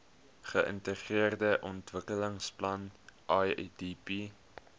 geintegreerde ontwikkelingsplan idp